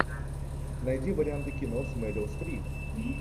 найди варианты кино с мерил стрип